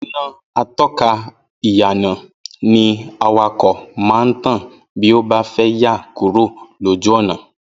Iná ató̩kà ìyànà ni awakò̩ máa ń tàn bí ó bá fé̩ yà kúrò lójú ò̩nà